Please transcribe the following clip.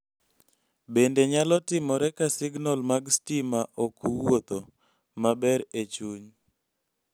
Bende, nyalo timore ka signal mag stima ok wuotho ??maber e chuny.